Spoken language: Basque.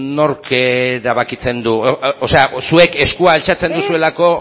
nork erabakitzen du o sea zuek eskua altxatzen duzuelako